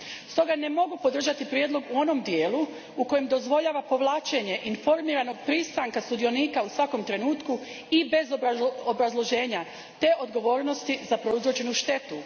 Stoga ne mogu podržati prijedlog u onom dijelu u kojemu dozvoljava povlačenje informiranog pristanka sudionika u svakom trenutku i bez obrazloženja, te odgovornosti za prouzročenu štetu.